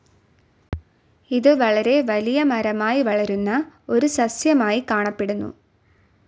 ഇത് വളരെ വലിയ മരമായി വളരുന്ന ഒരു സസ്യമായി കാണപ്പെടുന്നു.